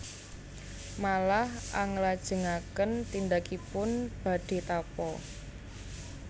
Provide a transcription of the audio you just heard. Malah anglajengaken tindakipun badhé tapa